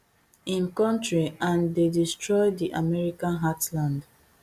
im kontri and dey destroy di american heartland